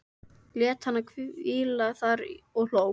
Lét hana hvíla þar og hló.